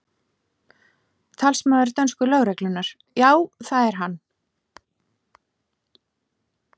Talsmaður dönsku lögreglunnar: Já, það er hann?